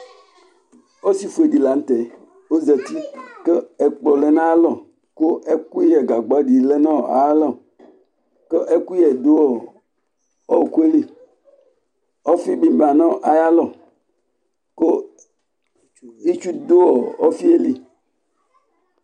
ɔsi fue dɩ lanʊtɛ ozati kʊ ɛkplɔ lɛ nʊ ayʊ alɔ, kʊ ɛkʊyɛ nʊ gagba dɩ lɛ nʊ ayʊ alɔ, kʊ ɛkʊyɛ dʊ ɔɔkʊ yɛ li, ɔfi bɩ lɛ nʊ ayʊ alɔ kʊ itsu dʊ ofi yɛ li